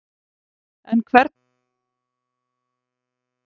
En hvernig þrífast plönturnar?